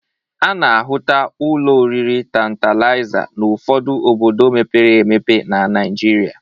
A na-ahụta ụlọ oriri Tantalịza n'ọfụdụ obodo mepere emepe na Naịjịrịa.